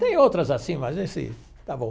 Tem outras assim, mas esse, está bom.